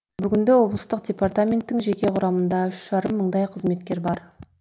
бүгінде облыстық департаменттің жеке құрамында үш жарым мыңдай қызметкер бар